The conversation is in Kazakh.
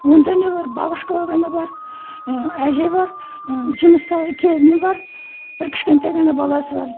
онда не бар бабушка ғана бар і әже бар і жұмыста келіні бар бір кішкентай ғана баласы бар